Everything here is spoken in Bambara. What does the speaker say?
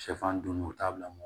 Sɛfan dunni u t'a bila mun